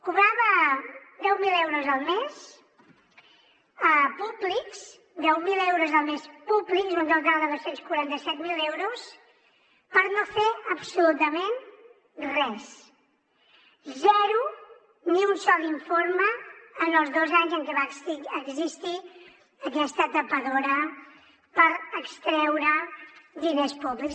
cobrava deu mil euros al mes públics deu mil euros al mes públics un total de dos cents i quaranta set mil euros per no fer absolutament res zero ni un sol informe en els dos anys en què va existir aquesta tapadora per extreure diners públics